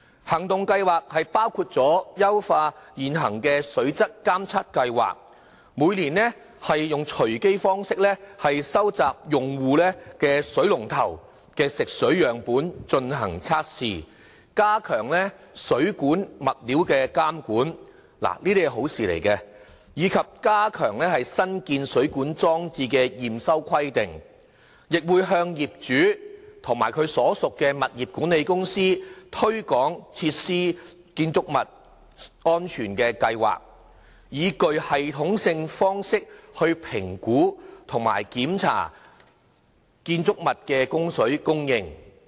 行動計劃包括優化現行水質監測計劃，每年以隨機方式收集用戶水龍頭的食水樣本進行測試，加強水管物料的監管——這些都是好事，以及加強新建水管裝置的驗收規定，亦向業主及其所屬的物業管理公司推廣設施、建築物安全的計劃，以具系統性方式評估和檢查建築物的供水設備。